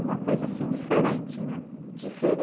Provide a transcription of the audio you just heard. Uma coisa assim diferente, né? Diferen